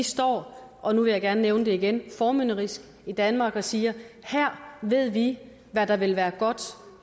står og nu vil jeg gerne nævne det igen formynderisk i danmark og siger her ved vi hvad det vil være godt